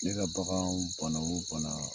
Ne ka bagan bana o bana